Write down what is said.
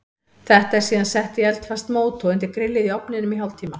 Þetta er síðan sett í eldfast mót og undir grillið í ofninum í hálftíma.